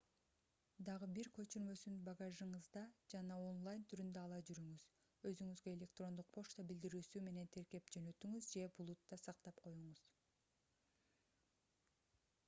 дагы бир көчүрмөсүн багажыңызда жана онлайн түрүндө ала жүрүңүз өзүңүзгө электрондук почта билдирүүсү менен тиркеп жөнөтүңүз же булутта сактап коюңуз